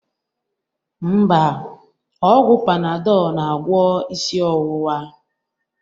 Mba, ọgwụ Panadọl na-agwọ isi ọwụwa